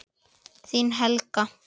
Þín, Helga.